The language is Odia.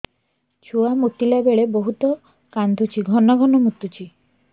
ଛୁଆ ମୁତିଲା ବେଳେ ବହୁତ କାନ୍ଦୁଛି ଘନ ଘନ ମୁତୁଛି